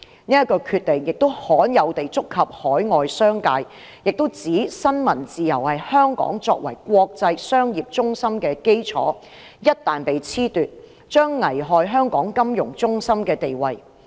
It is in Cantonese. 此決定亦罕有地觸及海外商界，並指出新聞自由是香港作為國際商業中心的基礎，一旦被褫奪，將危害香港金融中心的地位。